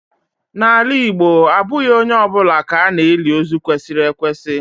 N'ala Igbo abụghị onye ọ bụla ka ha na-eli ozu kwesịrị ekwesị.